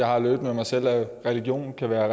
har med mig selv at religion kan være